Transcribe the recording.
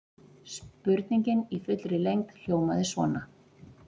Spurningin í fullri lengd hljómaði svona: